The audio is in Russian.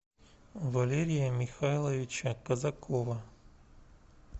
валерия михайловича казакова